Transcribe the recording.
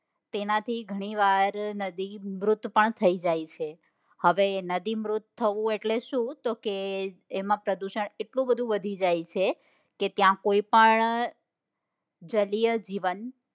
તેનાથી ઘણીવાર નદી મૃત પણ થઇ જાય છે. હવે નદી મૃત થવું એટલે શું તો કે તેમાં પ્રદુષણ એટલું બધું વધી જાય છે કે ત્યાં કોઈ પણ સજીવ